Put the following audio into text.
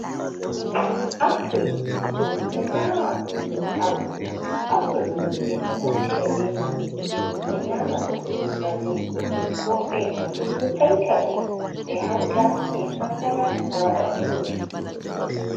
Apule, min ɗo nyama apule, apule min ɗo naftira be man min ɗo nyama ɗum bannin, woɓɓe ɗo taita ɗum ɓe hauta be kankana ɓe waɗa furut.